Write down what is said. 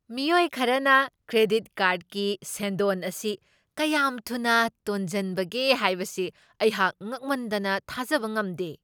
ꯃꯤꯑꯣꯏ ꯈꯔꯅ ꯀ꯭ꯔꯦꯗꯤꯠ ꯀꯥꯔ꯭ꯗꯀꯤ ꯁꯦꯟꯗꯣꯟ ꯑꯁꯤ ꯀꯌꯥꯝ ꯊꯨꯅ ꯇꯣꯖꯟꯕꯒꯦ ꯍꯥꯏꯕꯁꯤ ꯑꯩꯍꯥꯛ ꯉꯛꯃꯟꯗꯅ ꯊꯥꯖꯕ ꯉꯝꯗꯦ ꯫